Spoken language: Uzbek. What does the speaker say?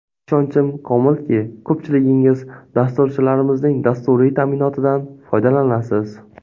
Ishonchim komilki, ko‘pchiligingiz dasturchilarimizning dasturiy ta’minotidan foydalanasiz.